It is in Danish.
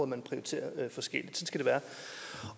man prioriterer forskelligt